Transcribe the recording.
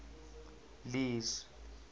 lee's